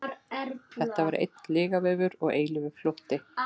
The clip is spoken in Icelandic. Þetta var einn lygavefur og eilífur flótti.